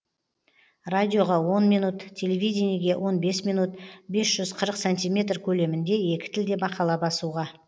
радиоға он минут телевидениеге он бес минут бес жүз қырық сантиметр көлемінде екі тілде мақала басуға